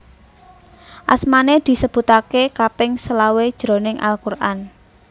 Asmané disebutaké kaping selawe jroning Al Quran